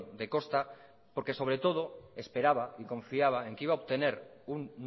de costa porque sobre todo esperaba y confiaba en que iba ha obtener un